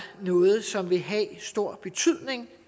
noget som vil have stor betydning